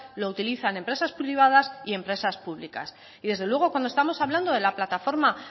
lo utilizan empresas privadas y empresas públicas y desde luego cuando estamos hablando de la plataforma